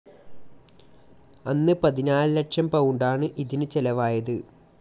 അന്ന് പതിനാല് ലക്ഷം പൗണ്ടാണ് ഇതിന് ചെലവായത്.